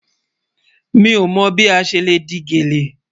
Mi o mọ́ bí a ṣẹ́ le dì gẹlẹ́.